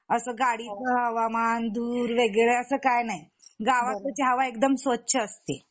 असं गाड़ीतल हवामान धूर वगैरे असं काही नाही, गावाकडची हवा एकदम स्वच्छ असते